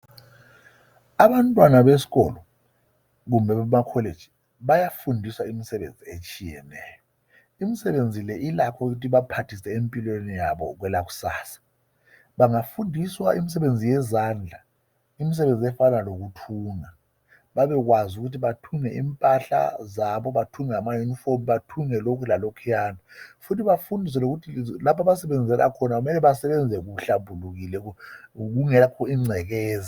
Abantwana besikolo kumbe emakholeji bayafundiswa imisebenzi ehlukeneyo imisebenzi leyi ilakho ukuthu ibaphathise empilweni yabo kwelakusasa bengafundiswa imisebenzi yezandla, imisebenzi efana lokuthunga babekwazi ukuba bethunge impahla zabo bathunge ama unifomu bathunge lokhu lalokhuyana futhi bafundiswe ukuthi lapha abasebenza khona basebenze kuhlambulukile kungela incekeza.